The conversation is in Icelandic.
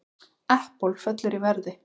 Apple fellur í verði